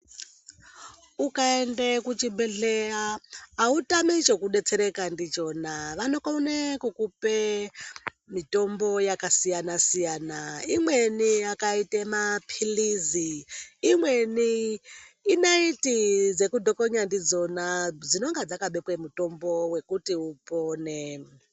Ukaende kuchibhedhleya, autami chekudetsereka ndichona, vanokone kukupe mitombo yakasiyana-siyana. Imweni yakaite maphilizi , imweni inaiti dzekudhokonya ndidzona ,dzinonga dzakabekwe mutombo wekuti upone.